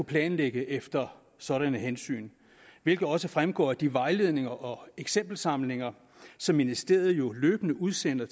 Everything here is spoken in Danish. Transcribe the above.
planlægge efter sådanne hensyn hvilket også fremgår af de vejledninger og eksempelsamlinger som ministeriet jo løbende udsender